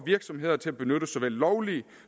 virksomheder til at benytte såvel lovlige